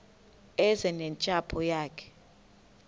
eze nentsapho yayo